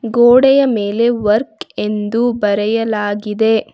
ಗೋಡೆಯ ಮೇಲೆ ವರ್ಕ್ ಎಂದು ಬರೆಯಲಾಗಿದೆ.